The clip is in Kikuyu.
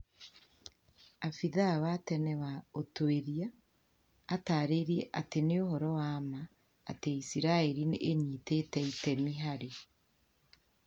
Afithaa wa tene wa ũtuĩria atarĩirie atĩ ni ũhoro wa ma atĩ isiraĩri nĩ ĩnyitĩte itemi harĩ